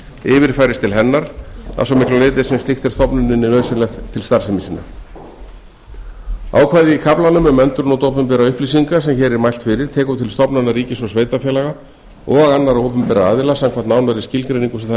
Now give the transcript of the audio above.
yfirfærist til hennar að svo miklu leyti sem slíkt er stofnuninni nauðsynlegt til starfsemi sinnar ákvæði í kaflanum um endurnot opinberra upplýsinga sem hér er mælt fyrir tekur til stofnana ríkis og sveitarfélaga og annarra opinberra aðila samkvæmt nánari skilgreiningu sem þar er að